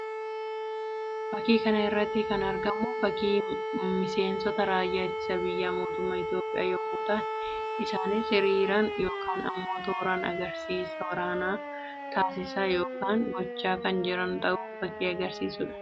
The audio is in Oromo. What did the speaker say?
Fakkii kana irratti kan argamu fakkii miseensota raayyaa ittisa biyyaa mootummaa Itoophiyaa yammuu ta'an; isaanis hiriiraan yookiin immoo tooraan agarsiisa waraanaa taasisaa yookiin gochaa kan jiran ta'uu fakkii agarsiisuu dha.